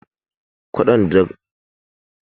Kwaɗon dafaffen dankalin hausa da ƙuli shi ake cewa mandaƙo